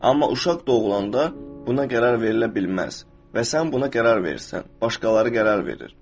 Amma uşaq doğulanda buna qərar verilə bilməz və sən buna qərar verirsən, başqaları qərar verir.